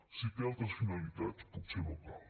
si té altres finalitats potser no cal